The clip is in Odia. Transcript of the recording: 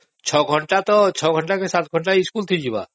ଛଅସାତ ଘଣ୍ଟା ତ ସ୍କୁଲକୁ ଯିବ